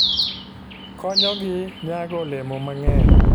Konyogi nyago olemo mang'eny.